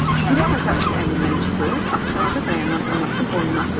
Gülər atasının əlindən çıxıb, astanada dayanan anasının qoynuna atıldı.